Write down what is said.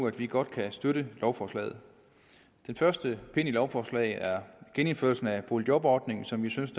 at vi godt kan støtte lovforslaget den første pind i lovforslaget er genindførelsen af boligjobordningen som jeg synes